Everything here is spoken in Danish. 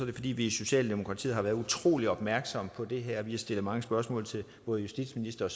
det fordi vi i socialdemokratiet har været utrolig opmærksomme på det her vi har stillet mange spørgsmål til både justitsministeren